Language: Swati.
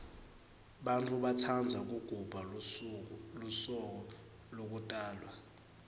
bantfu batsandza kugubha lusuko lekutalwa